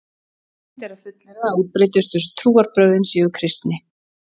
Óhætt er að fullyrða að útbreiddustu trúarbrögðin séu kristni.